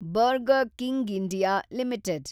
burger King India limited